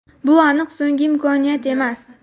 Bu aniq so‘nggi imkoniyat emas.